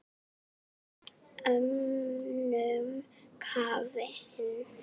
Þeir voru allir önnum kafnir.